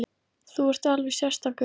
Þú ert alveg sérstakur!